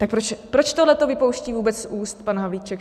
Tak proč tohleto vypouští vůbec z úst pan Havlíček?